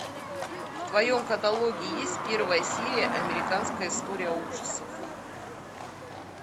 в твоем каталоге есть первая серия американская история ужасов